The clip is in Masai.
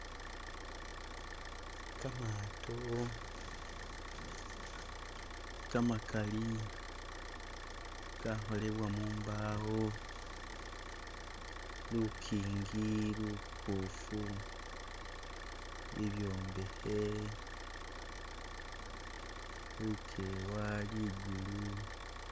Kamato kamakali kakholebwa mumbawo, lukingi lubofu, bibyombekhe, lukewa likulu